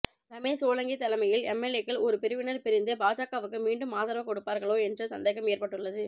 ரமேஷ் சோலங்கி தலைமையில் எம்எல்ஏக்கள் ஒரு பிரிவினர் பிரிந்து பாஜகவுக்கு மீண்டும் ஆதரவு கொடுப்பார்களோ என்ற சந்தேகம் ஏற்பட்டுள்ளது